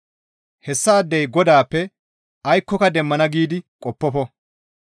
Hessaadey Godaappe aykkoka demmana giidi qoppofo.